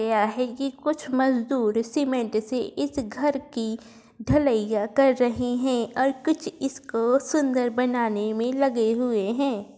गया है ये कुछ मजदूर सीमेंट से इस घर की ढल्लैया कर रहे हैं और कुछ इसको सुन्दर बनाने में लगे हुए है।